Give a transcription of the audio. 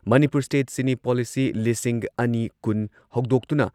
Manipur state cine policy ꯂꯤꯁꯤꯡ ꯑꯅꯤ ꯀꯨꯟ ꯍꯧꯗꯣꯛꯇꯨꯅ